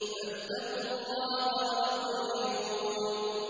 فَاتَّقُوا اللَّهَ وَأَطِيعُونِ